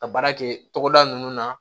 Ka baara kɛ togoda nunnu na